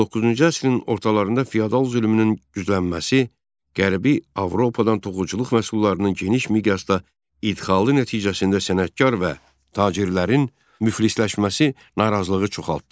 19-cu əsrin ortalarında feodal zülmünün güclənməsi, Qərbi Avropadan toxuculuq məhsullarının geniş miqyasda idxalı nəticəsində sənətkar və tacirlərin müflisləşməsi narazılığı çoxartdı.